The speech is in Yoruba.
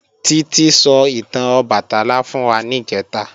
Títí sọ ìtàn Ọbàtálá fún wa níjẹ̀ta